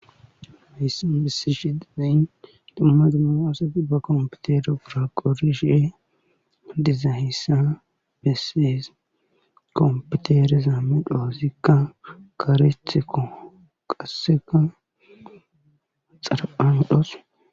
Heyssa besi shidedain dammadimaaoseti ba kompitere biraqori shie adiza hessa bessees kompitere zaami dhoosikka karethe koqasseka xara7andhos